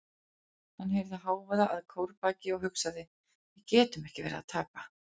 Hann heyrði hávaða að kórbaki og hugsaði: við getum ekki verið að tapa.